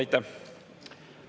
Aitäh!